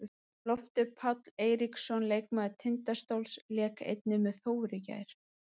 Loftur Páll Eiríksson, leikmaður Tindastóls, lék einnig með Þór í gær.